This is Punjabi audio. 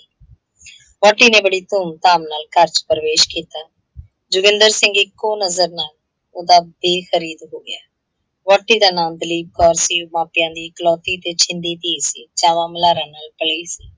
ਵਹੁਟੀ ਨੇ ਬੜੀ ਧੂੰਮ - ਧਾਮ ਨਾਲ ਘਰ ਚ ਪਰਵੇਸ਼ ਕੀਤਾ। ਜੋਗਿੰਦਰ ਸਿੰਘ ਇੱਕੋ ਨਜ਼ਰ ਨਾਲ ਓਹਦਾ ਦੇਖ ਮੁਰੀਦ ਹੋ ਗਿਆ। ਵਹੁਟੀ ਦਾ ਨਾਂ ਦਲੀਪ ਕੌਰ ਸੀ, ਮਾਪਿਆਂ ਦੀ ਇੱਕਲੌਤੀ ਤੇ ਛਿੰਦੀ ਧੀ ਸੀ, ਚਾਵਾਂ ਦੁਲਾਰਾਂ ਨਾਲ ਪਲੀ ਸੀ।